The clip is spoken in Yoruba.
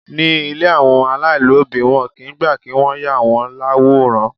Ní ilé àwọn alailobi, wọn kì í gbà kí wọ́n yà wọ́n l'àwòrán.